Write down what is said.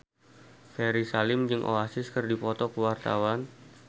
Ferry Salim jeung Oasis keur dipoto ku wartawan